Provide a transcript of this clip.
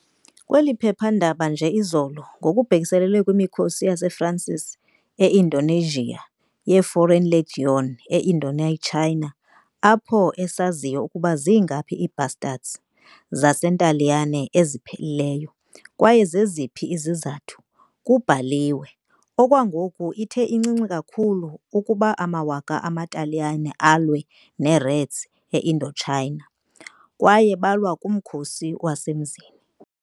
Kweli phephandaba, nje izolo, ngokubhekiselele kwimikhosi yaseFransi e- Indochina, ye-Foreign Legion e- Indochina, apho esaziyo ukuba zingaphi "ii-bastards" zaseNtaliyane eziphelileyo, kwaye zeziphi izizathu, kubhaliwe- "«Okwangoku, ithe incinci kakhulu ukuba amawaka amaTaliyane alwa ne-reds e-Indochina. Kwaye balwa kuMkhosi Wasemzini!»"